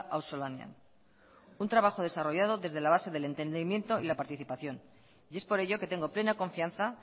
auzolanean un trabajo desarrollado desde la base del entendimiento y la participación y es por ello que tengo plena confianza